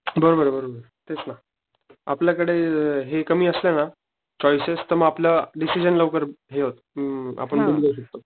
बरोबर बरोबरे तसच आपल्या कडे हे कमी असलं ना चॉइसेस तर मग आपला डिसिजन लवकर हे होतो अ आपण बदलू शकतो.